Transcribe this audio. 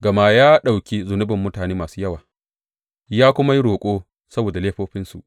Gama ya ɗauki zunubin mutane masu yawa, ya kuma yi roƙo saboda laifofinsu.